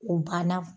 O banna